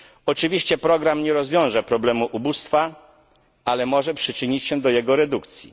Oczywiście program nie rozwiąże problemu ubóstwa, ale może przyczynić się do jego redukcji.